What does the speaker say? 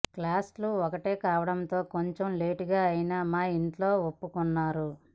కాస్ట్లు ఒకటే కావడంతో కొంచెం లేటుగా అయిన మా ఇంట్లో ఒప్పుకున్నారు